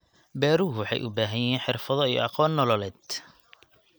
Beeruhu waxay u baahan yihiin xirfado iyo aqoon nololeed.